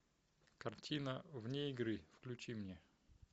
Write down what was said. картина вне игры включи мне